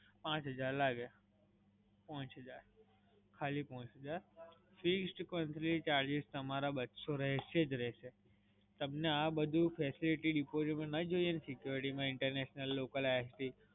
પાંચ હજાર લાગે. પાંચ હજાર, ખાલી પાંચ હજાર. fixed company ચાર્જ તમારા બસો રહશે જ રહશે રહશે. તમને આ બધી facility ના જોઈએ ને security માં Internaional, Local, ISD